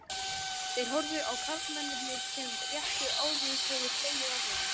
Þeir horfðu á karlmennirnir sem rétt áður höfðu hlegið við henni.